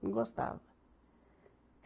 Não gostava.